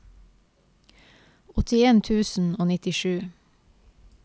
åttien tusen og nittisju